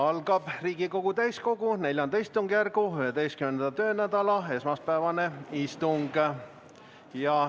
Algab Riigikogu täiskogu IV istungjärgu 11. töönädala esmaspäevane istung.